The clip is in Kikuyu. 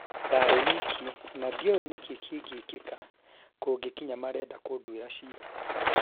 ndarĩ wiki na ndioe nikii kĩngĩkĩka kũngĩkinya marenda kũndũĩra cira